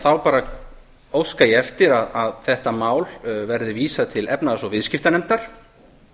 þá bara óska ég eftir að þessu máli verði vísað til efnahags og viðskiptanefndar